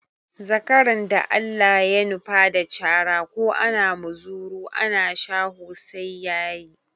Zakaran da Allah ya nufa da cara ko ana muzuru ana shaho sai ya yi.